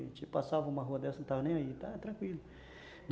A gente passava uma rua dessa, não estava nem aí, tranquilo.